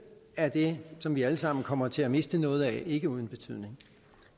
er det som vi alle sammen kommer til at miste noget af ikke uden betydning